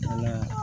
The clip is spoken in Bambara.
Ala